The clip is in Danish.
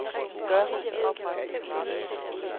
gør